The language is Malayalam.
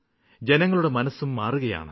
ജനങ്ങളുടെ മനസ്സും മാറുകയാണ്